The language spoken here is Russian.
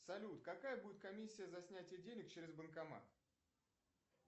салют какая будет комиссия за снятие денег через банкомат